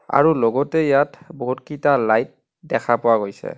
আৰু লগতে ইয়াত বহুতকিটা লাইট দেখা পোৱা গৈছে।